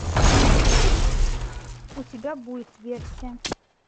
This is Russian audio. у тебя будет версия